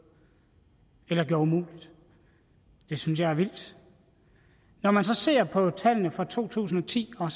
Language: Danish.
eller gjorde umuligt det synes jeg er vildt når man så ser på tallene fra to tusind og ti og